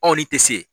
Anw ni tɛ se